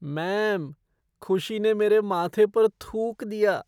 Ma'am, खुशी ने मेरे माथे पर थूक दिया।